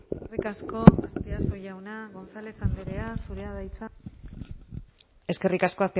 eskerrik asko azpiazu jauna gonzález andrea zurea da hitza eskerrik asko